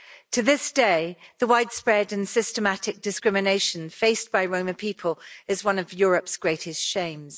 To this day, the widespread and systematic discrimination faced by Roma people is one of Europe's greatest shames.